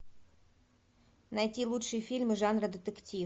найти лучшие фильмы жанра детектив